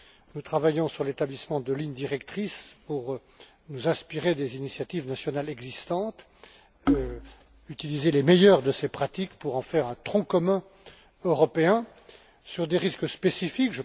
Nous travaillons sur l'établissement de lignes directrices pour nous inspirer des initiatives nationales existantes et utiliser les meilleures de ces pratiques pour en faire un tronc commun européen sur des risques spécifiques.